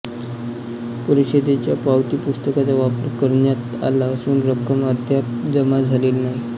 परिषदेच्या पावतीपुस्तकाचा वापर करण्यात आला असून रक्कम अद्याप जमा झालेली नाही